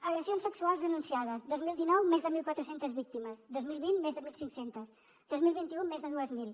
agressions sexuals denunciades dos mil dinou més de mil quatre cents víctimes dos mil vint més de mil cinc cents dos mil vint u més de dos mil